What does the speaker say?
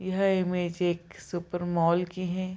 यह इमेज एक super mall की हैं।